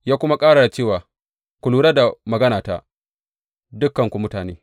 Ya kuma ƙara da cewa, Ku lura da maganata, dukanku mutane!